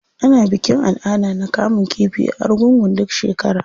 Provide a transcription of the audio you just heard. Ana bikin al'ada na kamun kifi a argungu duk shekara.